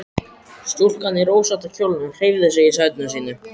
Stúlkan í rósótta kjólnum hreyfði sig í sæti sínu.